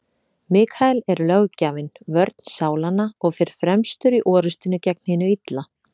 Mikael er löggjafinn, vörn sálanna, og fer fremstur í orrustunni gegn hinu illa.